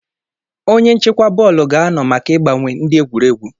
Onye nchịkwa bọọlụ ga-anọ maka ịgbanwe ndị egwuregwu.